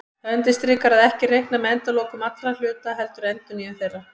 Það undirstrikar að ekki er reiknað með endalokum allra hluta heldur endurnýjun þeirra.